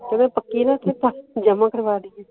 ਇੱਡੀ ਪੱਕੀ ਦਾ ਕਿੱਸਾ ਜਾਮਾ ਕਰਵਾ ਦਿੱਤਾ